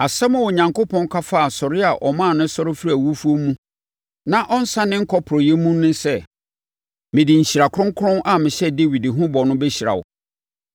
Asɛm a Onyankopɔn ka faa sɔre a ɔmaa no sɔre firii awufoɔ mu na ɔrensane nkɔ porɔeɛ mu no ne sɛ, “ ‘Mede nhyira kronkron a mehyɛɛ Dawid ho bɔ no bɛhyira wo.’